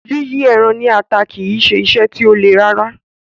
Yíyí ẹran ní ata kì í ṣe iṣẹ́ tí ó le rárá.